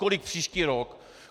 Kolik příští rok?